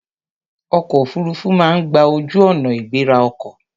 Ọkọ̀ òfuruufú máa ń gba ojú-ọ̀nà ìgbéra ọkọ̀.